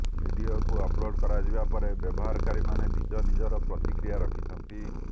ଭିଡ଼ିଓକୁ ଅପ୍ଲୋଡ଼ କରାଯିବା ପରେ ବ୍ୟବହାରକାରୀମାନେ ନିଜ ନିଜର ପ୍ରତିକ୍ରିୟା ରଖିଛନ୍ତି